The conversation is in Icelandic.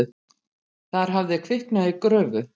Þar hafði kviknað í gröfu.